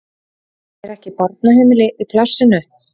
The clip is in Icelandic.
Er ekki barnaheimili í plássinu?